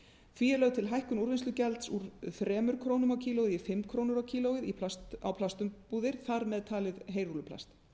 því er lögð til hækkun úrvinnslugjalds úr þremur krónum kílógrömmum á plastumbúðir þar með talið heyrúlluplast